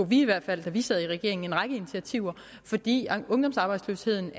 vi i hvert fald da vi sad i regering en række initiativer fordi ungdomsarbejdsløsheden